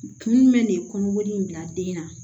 Kun jumɛn ne kɔnɔ in bila den na